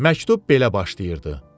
Məktub belə başlayırdı: